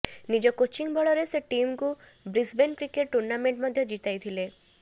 ନିଜ କୋଚିଂ ବଳରେ ସେ ଟିମକୁ ବ୍ରିସବେନ୍ କ୍ରିକେଟ୍ ଟୁର୍ଣ୍ଣାମେଣ୍ଟ ମଧ୍ୟ ଜିତାଇଥିଲେ